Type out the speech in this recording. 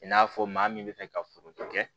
I n'a fɔ maa min bɛ fɛ ka foro kɛ